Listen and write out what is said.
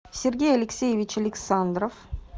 сергей алексеевич александров